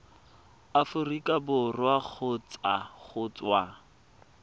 aforika borwa kgotsa go tswa